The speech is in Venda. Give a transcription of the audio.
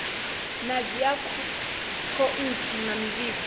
na dzi akhouthu na mivhigo